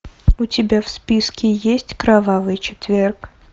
у тебя в списке есть кровавый четверг